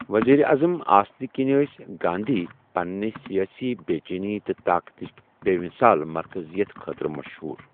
وزیر اعظم آسہٕ کینۍ ٲس گاندھی پننہٕ سیٲسی بے چینی تہٕ طاقتٕچ بے مثال مرکزیت خٲطرٕ مشہور۔